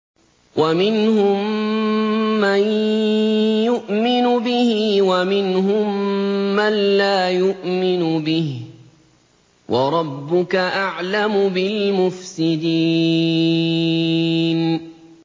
وَمِنْهُم مَّن يُؤْمِنُ بِهِ وَمِنْهُم مَّن لَّا يُؤْمِنُ بِهِ ۚ وَرَبُّكَ أَعْلَمُ بِالْمُفْسِدِينَ